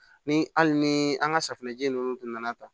Ni hali ni an ka safinɛji ninnu tun nana ta